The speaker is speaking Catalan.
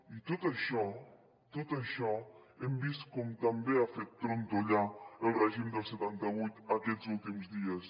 i tot això tot això hem vist com també ha fet trontollar el règim del setanta vuit aquests últims dies